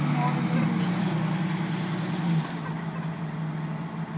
O modo de vestir.